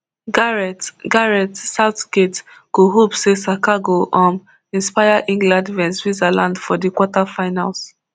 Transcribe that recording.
gareth gareth southgate go hope say saka go um inspire england vs switzerland for di quarterfinals